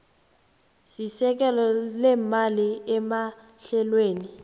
sesekelo leemali emahlelweni